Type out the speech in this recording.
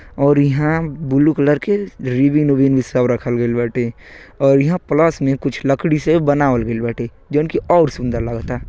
और ईहां blue colour के रिबिन ओबिन सब रखल गइल बाटे और ईहां प्लस नियर कुछ लकड़ी से बनावल गइल बाटे जौन कि और सुंदर लागता।